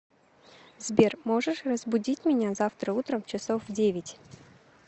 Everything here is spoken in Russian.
сбер можешь разбудить меня завтра утром часов в девять